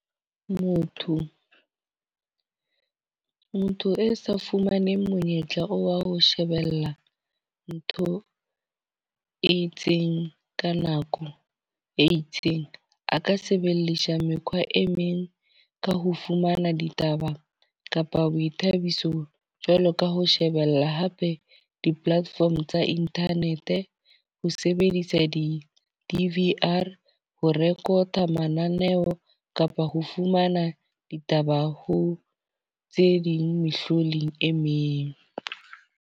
Motho, motho e sa fumaneng monyetla wa ho shebella ntho e itseng ka nako e itseng. A ka sebedisa mekgwa e meng ka ho fumana ditaba kapa boithabiso jwalo ka ho shebella hape di-platform tsa internet. Ho sebedisa di-D_V_R ho record mananeo kapa ho fumana ditaba ho tse ding mehlodi e meng.